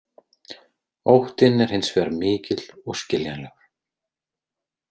Óttinn er hins vegar mikill og skiljanlegur.